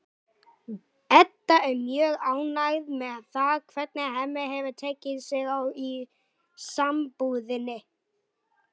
Edda er mjög ánægð með það hvernig Hemmi hefur tekið sig á í sambúðinni.